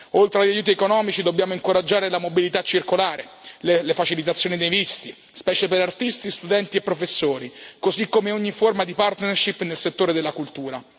Oltre agli aiuti economici, dobbiamo incoraggiare la mobilità circolare, le facilitazioni dei visti, specie per artisti, studenti e professori, così come ogni forma di partnership nel settore della cultura.